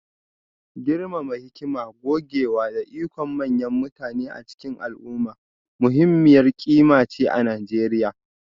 girmama hikima, gogewa, da ikon manyan mutane a cikin al'umma muhimmiyar ƙima ce a Najeriya